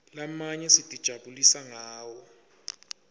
lamanye sitijabulisa ngawo